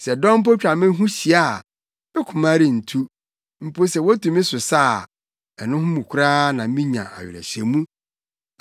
Sɛ dɔm mpo twa me ho hyia a, me koma rentu; mpo sɛ wotu me so sa a, ɛno mu koraa na minya awerehyɛmu.